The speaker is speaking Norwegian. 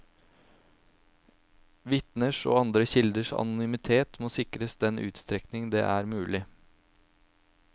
Vitners og andre kilders anonymitet må sikres i den utstrekning det er mulig.